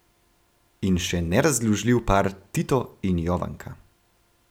In še nerazdružljiv par Tito in Jovanka.